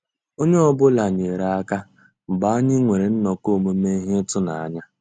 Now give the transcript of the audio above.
Ónyé ọ́ bụ́là nyéré àká mgbeé ànyị́ nwèrè nnọ́kọ́ òmùmé íhé ị́tụ́nányá.